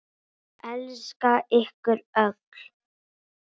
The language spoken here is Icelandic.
Elska ykkur öll.